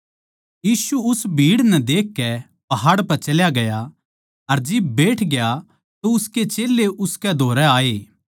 यीशु उस भीड़ नै देखकै पाहाड़ पै चला ग्या अर जब बैठग्या तो उसके चेल्लें उसकै धोरै आए